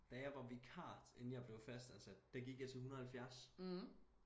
Da jeg var vikar inden jeg blev fastansat der gik jeg til 170